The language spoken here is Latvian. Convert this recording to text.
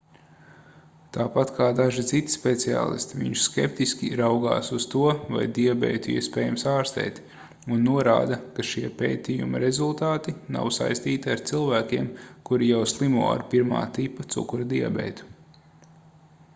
tāpat kā daži citi speciālisti viņš skeptiski raugās uz to vai diabētu iespējams ārstēt un norāda ka šie pētījuma rezultāti nav saistīti ar cilvēkiem kuri jau slimo ar 1. tipa cukura diabētu